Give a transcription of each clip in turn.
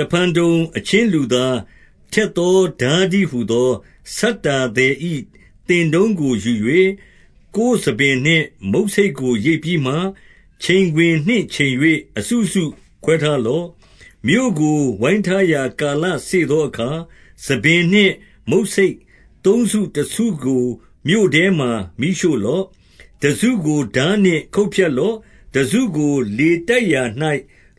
တဖန်တုံ၊ အချင်းလူသား၊ ထက်သောထား တည်းဟူသော၊ ဆတ္တာသည်၏သင်တုန်းကိုယူ၍၊ ကိုယ်ဆံပင်နှင့်မုတ်ဆိတ်ကို ရိတ်ပြီးမှ၊ ချိန်ခွင်နှင့် ချိန်၍ အစုစုခွဲထားလော့။ 2 မြို့ကို ဝိုင်းထားရာ ကာလစေ့သောအခါ၊ ဆံပင်နှင့် မုတ်ဆိတ်သုံးစု တစုကို မြို့ထဲမှာ မီးရှို့လော့။ တစုကိုထားနှင့်ခုတ်ဖြတ်လော့။ တစုကို လေတိုက်ရာ၌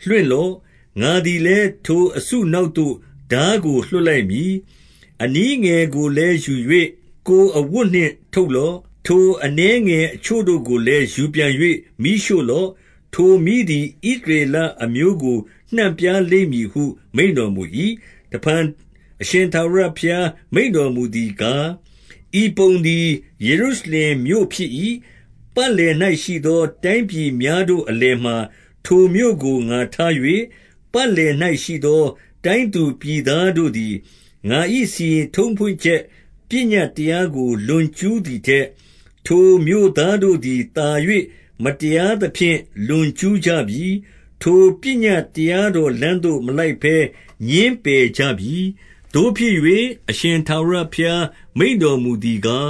လွှင့်လော့။ ငါသည်လည်း ထိုအစုနောက်သို့ ထားကိုလွှတ် လိုက်မည်။ 3 အနည်းငယ်ကိုလည်းယူ၍ ကိုယ်အဝတ်နှင့် ထုပ်လော့။ 4 ထိုအနည်းငယ်အချို့ကိုလည်း ယူပြန်၍ မီးရှို့ လော့။ ထိုမီးသည် ဣသရေလအမျိုးကို နှံ့ပြားလိမ့်မည်ဟု မိန့်တော်မူ၏။ 5 တဖန်အရှင်ထာဝရဘုရား မိန့်တော်မူသည် ကား၊ ဤပုံသည် ယေရုရှလင်မြို့ဖြစ်၏။ ပတ်လည်၌ ရှိသောတိုင်းပြည်များတို့အလယ်မှာ ထိုမြို့ကို ငါထား၍၊ 6 ပတ်လည်၌ရှိသော တိုင်းသူပြည်သားတို့သည် ငါ၏စီရင်ထုံးဖွဲ့ ချက်ပညတ်တရားကို လွန်ကျူး သည်ထက်၊ ထိုမြို့သားတို့သည်သာ၍ မတရားသဖြင့် လွန်ကျူးကြပြီ။ ထိုပညတ်တရားတော်လမ်းသို့ မလိုက်ဘဲ ငြင်းပယ်ကြပြီ။ 7 သို့ဖြစ်၍၊ အရှင်ထာဝရဘုရား မိန့်တော်မူသည် ကား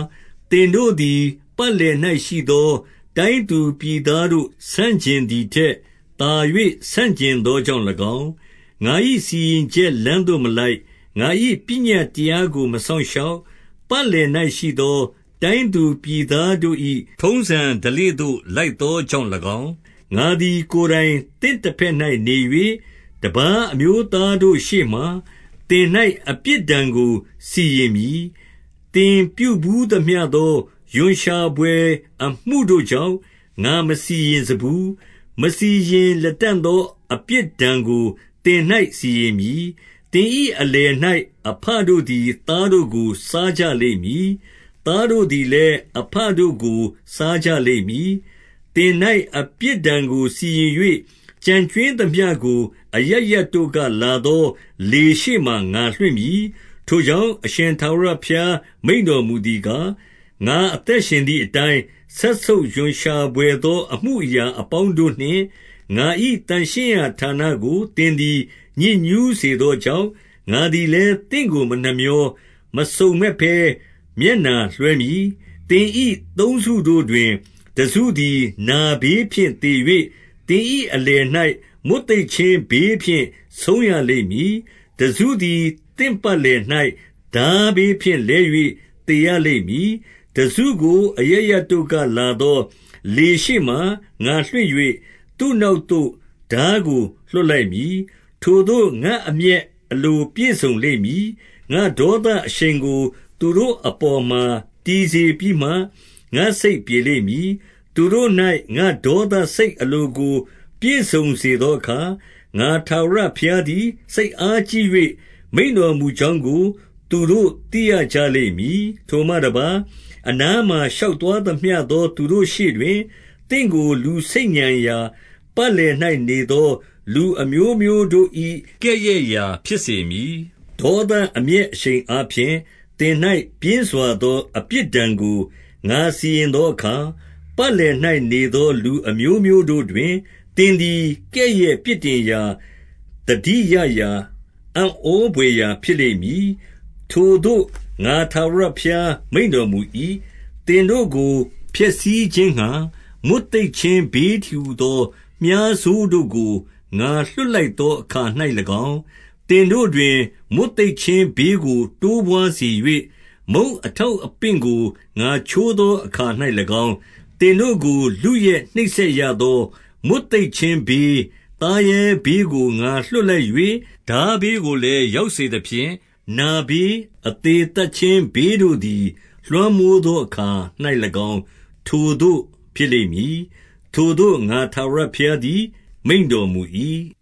၊ သင်တို့သည် ပတ်လည်၌ရှိသော တိုင်းသူပြည်သား တို့ ဆန့်ကျင်သည်ထက်၊ သာ၍ဆန့် ကျင်သောကြောင့် ၎င်း၊ ငါ၏စီရင်ချက်လမ်းသို့မဟုတ်၊ ငါ၏ပညတ်တရား ကိုမစောင့်ရှောက်၊ ပတ်လည်၌ရှိသော တိုင်းသူပြည်သား တို့၏ထုံးစံဓလေ့ သို့လိုက်သောကြောင့်၎င်း၊ 8 ငါသည်ကိုယ်တိုင်သင့်တဘက်၌ နေ၍၊ တပါး အမျိုးသားတို့ရှေ့မှာ သင်၌အပြစ်ဒဏ်ကိုစီရင်မည်။ 9 သင်ပြုဘူးသမျှသော ရွံ့ရှာဘွယ်အမှုတို့ကြောင့်၊ ငါမစီရင်စဖူး၊ မစီရင်လတံ့သောအပြစ်ဒဏ်ကို သင်၌ စီရင်မည်။ 10 သင်၏အလယ်၌ အဘတို့သည် သားတို့ကို စားကြလိမ့်မည်။ သားတို့သည်လည်း အဘတို့ကိုစားကြ လိမ့်မည်။ သင်၌အပြစ်ဒဏ်ကို စီရင်၍၊ ကျန်ကြွင်းသမျှကို အရပ်ရပ်တို့ကလာသောလေရှေ့မှာ ငါလွှင့်မည်။ 11 ထိုကြောင့်၊ အရှင်ထာဝရဘုရား မိန့်တော်မူ သည်ကား၊ ငါအသက်ရှင်သည်အတိုင်း၊ စက်ဆုပ်ရွံရှာ ဘွယ်သော အမှုအရာအပေါင်းတို့နှင့် ငါ၏သန့်ရှင်းရာ ဌာနကို သင်သည်ညစ်ညူးစေသောကြောင့်၊ ငါသည် လည်း သင့်ကိုမနှမြော၊ မစုံမက်ဘဲမျက်နှာလွှဲမည်။ 12 သင်၏သုံးစုတို့တွင်၊ တစုသည်နာဘေးဖြင့် သေ၍၊ သင်၏အလယ်၌မွတ်သိပ်ခြင်းဘေးဖြင့် ဆုံးရ လိမ့်မည်။ တစခုသည်သင့်ပတ်လည်၌ ထားဘေးဖြင့်လဲ၍ သေရလိမ့်မည်။ တစုကိုအရပ်ရပ်တို့က လာသော လေရှေ့မှာငါလွှင့်၍၊ သူ့နောက်သို့ ထားကို လွှတ်လိုက် မည်။ 13 ထိုသို့ငါအမျက်အလို ပြည့်စုံလိမ့်မည်။ ငါ့ဒေါသ အရှိန်ကို သူတို့အပေါ်မှာ တည်စေပြီးမှ၊ ငါ့စိတ်ပြေ လိမ့်မည်။ သူတို့၌ ငါ့ဒေါသစိတ်အလို ကိုပြည့်စုံ စေသောအခါ၊ ငါထာဝရဘုရားသည် စိတ်အားကြီး၍ မိန့်တော်မူကြောင်းကို သူတို့သိရကြလိမ့်မည်။ 14 ထိုမှတပါး၊ အနားမှာရှောက်သွားသမျှသော သူတို့ရှေ့တွင် သင့်ကိုလူဆိတ်ညံရာ၊ ပတ်လည်၌နေသော လူအမျိုးမျိုးတို့၏ ကဲ့ရဲ့ရာ ဖြစ်စေမည်။ 15 ဒေါသအမျက်အရှိန်အားဖြင့် သင်၌ပြင်းပစွာ သော အပြစ်ဒဏ်ကို ငါစီရင်သောအခါ၊ ပတ်လည်၌ နေသောလူအမျိုမျိုးတို့တွင် သင်သည် ကဲ့ရဲ့ပြစ်တင်ရာ၊ သတိရရာ၊ အံ့ဩဘွယ်ရာဖြစ်လိမ့်မည်။ ထိုသို့ငါထာဝရ ဘုရား မိန့်တော်မူ၏။ 16 သင်တို့ကို ဖျက်ဆီးခြင်းငှါ မွတ်သိပ်ခြင်း ဘေးတည်းဟူသော မြှားဆိုးတို့ကို ငါလွှတ်လိုက်သော အခါ၌၎င်း၊ သင်တို့တွင်မွတ်သိပ်ခြင်းဘေးကို တိုးပွါးစေ၍၊ မုန့်အထောက်အပင့်ကို ငါချိုးသောအခါ၌၎င်း၊ 17 သင်တို့ကို လုယက်နှိပ်စက်ရသော မွတ်သိပ်ခြင်း ဘေး၊ သားရဲဘေးကို ငါလွှတ်လိုက်၍၊ ထားဘေးကိုလည်း ရောက်စေသဖြင့်၊ နာဘေး၊ အသေသတ်ခြင်းဘေးတို့ သည် လွှမ်းမိုးသောအခါ၌၎င်း ထိုသို့ဖြစ်လိမ့်မည်။ ထိုသို့ ငါထာဝရဘုရားသည် မိန့်တော်မူ၏။